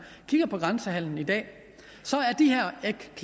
kigger på grænsehandelen i dag